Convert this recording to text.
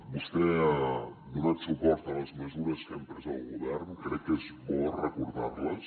vostè ha donat suport a les mesures que hem pres el govern crec que és bo recordar les